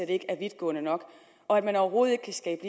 ikke er vidtgående nok og at man overhovedet ikke kan skabe